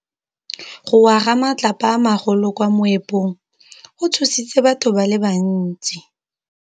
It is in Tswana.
Go wa ga matlapa a magolo ko moepong go tshositse batho ba le bantsi.